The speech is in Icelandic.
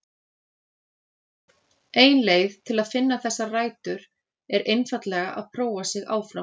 Ein leið til að finna þessar rætur er einfaldlega að prófa sig áfram.